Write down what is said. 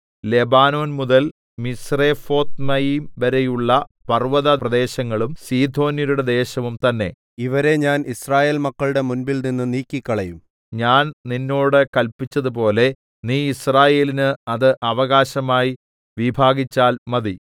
Lebanon മുതൽ മിസ്രെഫോത്ത്മയീം വരെയുള്ള പർവ്വത പ്രദേശങ്ങളും സീദോന്യരുടെ ദേശവും തന്നേ ഇവരെ ഞാൻ യിസ്രായേൽ മക്കളുടെ മുമ്പിൽനിന്നു നീക്കിക്കളയും ഞാൻ നിന്നോട് കല്പിച്ചതുപോലെ നീ യിസ്രായേലിന് അത് അവകാശമായി വിഭാഗിച്ചാൽ മതി